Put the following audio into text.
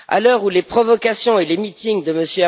À l'heure où les provocations et les meetings de M.